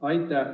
Aitäh!